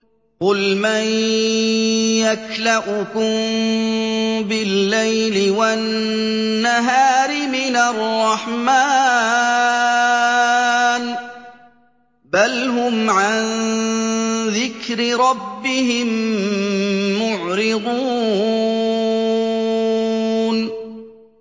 قُلْ مَن يَكْلَؤُكُم بِاللَّيْلِ وَالنَّهَارِ مِنَ الرَّحْمَٰنِ ۗ بَلْ هُمْ عَن ذِكْرِ رَبِّهِم مُّعْرِضُونَ